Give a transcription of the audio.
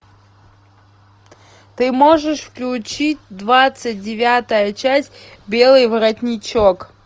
ты можешь включить двадцать девятая часть белый воротничок